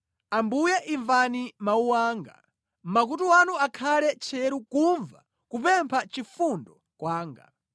Ambuye imvani mawu anga. Makutu anu akhale tcheru kumva kupempha chifundo kwanga.